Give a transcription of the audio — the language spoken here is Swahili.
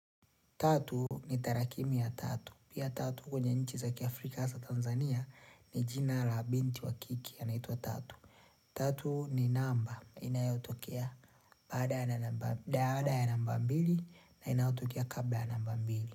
Tatu ni tarakimu ya tatu. Pia tatu kwenye nchi za kiafrika hasa Tanzania ni jina la binti wa kike anaitwa tatu. Tatu ni namba. Inayotokea Baada ya namba mbili na inayotokea kabla ya namba mbili.